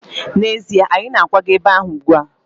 N'ezie, anyị na-akwaga ebe ahụ ugbu a.